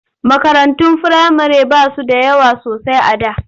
Makarantun firamare ba su da yawa sosai a da.